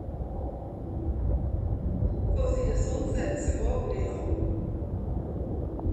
Ko vzide sonce, se bo ogrelo.